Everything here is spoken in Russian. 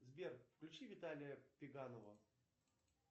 сбер включи виталия пеганова